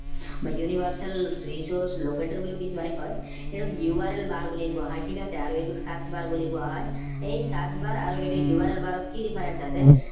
বা universal resource locator বুলিও কিছুমানে কয় এইটোক url bar বুলি কোৱা হয় ঠিক আছে আৰু এইটোক search bar বুলি কোৱা হয় এই search bar আৰুএইটো url bar ত কি difference আছে